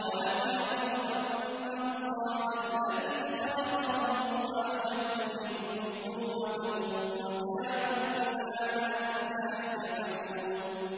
قُوَّةً ۖ أَوَلَمْ يَرَوْا أَنَّ اللَّهَ الَّذِي خَلَقَهُمْ هُوَ أَشَدُّ مِنْهُمْ قُوَّةً ۖ وَكَانُوا بِآيَاتِنَا يَجْحَدُونَ